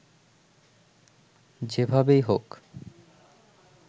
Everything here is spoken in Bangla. যেভাবেই হোক